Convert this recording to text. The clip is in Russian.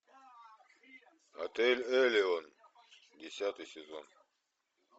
отель элеон десятый сезон